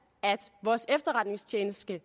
at vores efterretningstjeneste